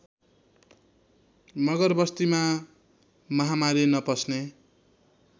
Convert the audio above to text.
मगरबस्तीमा महामारी नपस्ने